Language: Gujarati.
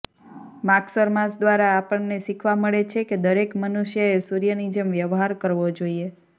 માગશર માસ દ્વારા આપણને શીખવા મળે છે કે દરેક મનુષ્યએ સૂર્યની જેમ વ્યવહાર કરવો જોઈએ